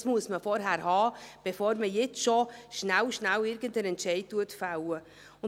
Dies muss man vorher haben, bevor man schnell, schnell einen Entscheid fällen kann.